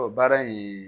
Ɔ baara in